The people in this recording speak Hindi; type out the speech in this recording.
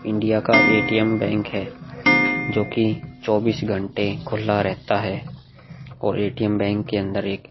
इंडिया का ए_टी_एम बैंक है जो कि चौबीस घंटे खुला रहता है और ए_टी_एम बैंक के अंदर एक --